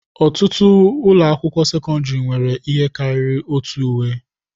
Ọtụtụ ụlọ akwụkwọ sekọndrị nwere ihe karịrị otu uwe.